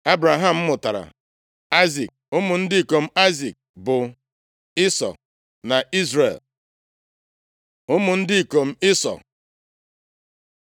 Ebraham mụtara Aịzik. Ụmụ ndị ikom Aịzik bụ Ịsọ na Izrel. Ụmụ ndị ikom Ịsọ